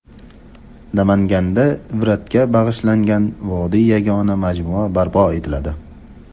Namanganda Ibratga bag‘ishlangan vodiyda yagona majmua barpo etiladi.